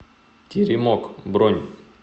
теремок бронь